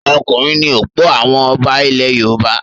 Ọkùnrin ni ọ̀pọ̀ àwọn ọba ilẹ̀ Yorùbá.